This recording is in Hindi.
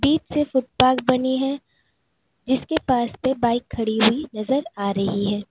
बीच से फुट पाथ बनी है जिसके पास में बाइक खड़ी हुई नजर आ रही है।